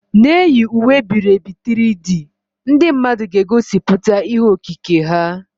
Na-eyi uwe e biri ebi 3D, ndị mmadụ ga-egosipụta ihe okike ha.